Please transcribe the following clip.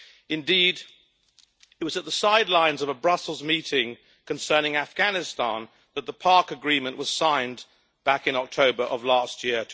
Indeed, it was at the sidelines of a Brussels meeting concerning Afghanistan that the PARC agreement was signed back in October of last year